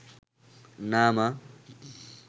না মা